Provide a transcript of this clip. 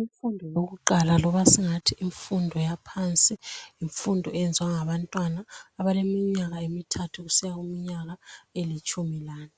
Imfundo yakuqala loba singathi yimfundo yaphansi. Yimfundo eyenziwa ngabantwana abaleminyaka emithathu kusiya kuminyaka elitshumi lanye.